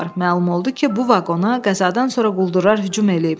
Məlum oldu ki, bu vaqona qəzadan sonra quldurlar hücum eləyib.